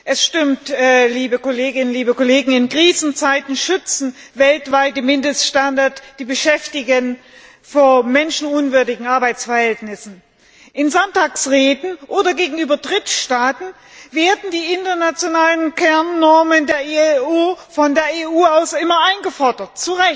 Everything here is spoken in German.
Es stimmt, liebe Kolleginnen und Kollegen, in Krisenzeiten schützen weltweite Mindeststandards die Beschäftigten vor menschenunwürdigen Arbeitsverhältnissen. In Sonntagsreden oder gegenüber Drittstaaten werden die internationalen Kernnormen der IAO von der EU immer eingefordert.